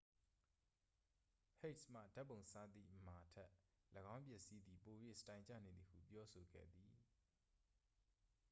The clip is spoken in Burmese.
ဟိတ်စ်မှ ဓာတ်ပုံစားသည့် မာထက် ၎င်းပစ္စည်းသည် ပို၍ စတိုင်ကျနေသည်ဟု ပြောဆိုခဲ့သည်